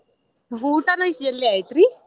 ಊಟಾನು ಇಷ್ಟ ಜಲ್ದಿ ಆಯ್ತ್ರಿ.